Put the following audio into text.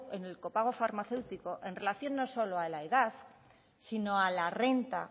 en el copago farmacéutico en relación no solo a la edad sino a la renta